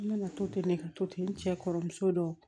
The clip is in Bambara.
N nana to ten ne ka to ten n cɛ kɔrɔmuso dɔ